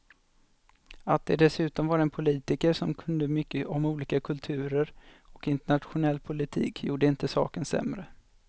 Att det dessutom var en politiker som kunde mycket om olika kulturer och internationell politik gjorde inte saken sämre.